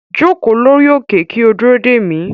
Joko lori oke ki o duro de mi